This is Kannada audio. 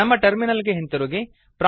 ನಮ್ಮ ಟರ್ಮಿನಲ್ ಗೆ ಹಿಂದಿರುಗಿ